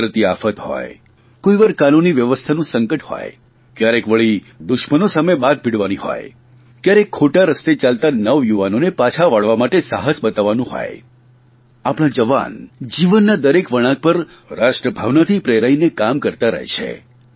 કુદરતી આફત હોય કોઇવાર કાનૂની વ્યવસ્થાનું સંકટ હો કયારેક વળી દુશ્મનો સામે બાથ ભીડવાની હોય કયારેક ખોટા રસ્તે ચાલતા નવયુવાનોને પાછા વાળવા માટે સાહસ બતાવવાનું હોય આપણા જવાન જીવનના દરેક વળાંક પર રાષ્ટ્રભાવનાથી પ્રેરાઇને કામ કરતા રહે છે